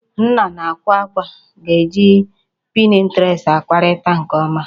Ndị na-ákwà àkwá ga-eji pinterest akparịta nke ọma